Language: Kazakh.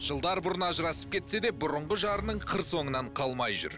жылдар бұрын ажырасып кетсе де бұрынғы жарының қыр соңынан қалмай жүр